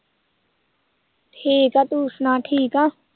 ਠੀਕ ਆ ਤੂੰ ਸੁਣਾ ਠੀਕ ਆਂ?